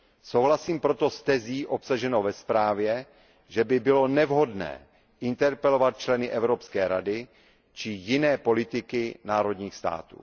Souhlasím proto s tezí obsaženou ve zprávě, že by bylo nevhodné interpelovat členy Evropské rady či jiné politiky národních států.